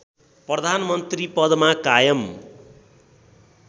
प्रधानमन्त्री पदमा कायम